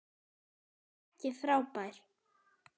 Ekki frábær.